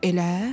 Elə?